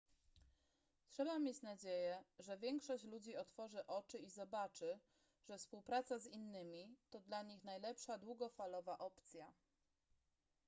trzeba mieć nadzieję że większość ludzi otworzy oczy i zobaczy że współpraca z innymi to dla nich najlepsza długofalowa opcja